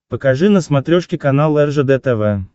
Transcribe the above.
покажи на смотрешке канал ржд тв